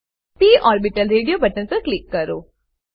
પ orbital radio button પર click કરો